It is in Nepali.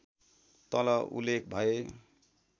तल उल्लेख भए